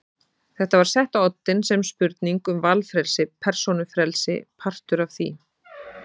Þetta var sett á oddinn sem spurning um valfrelsi, persónufrelsi, partur af því.